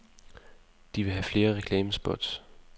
De vil have flere reklamespots.